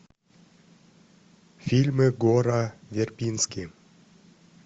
фильмы гора вербински